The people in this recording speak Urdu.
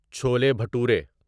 چولی بھٹورے